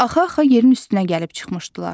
Axa-axa yerin üstünə gəlib çıxmışdılar.